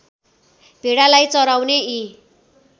भेडालाई चराउने यी